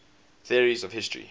theories of history